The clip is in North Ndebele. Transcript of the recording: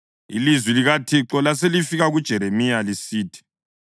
Ilizwi likaThixo laselifika kuJeremiya lisithi: